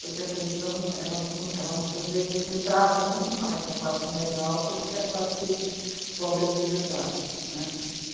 Porque a televisão, elas, ela muitas vezes, retrata muito mais a classe média alta do que a classe pobre de verdade, né.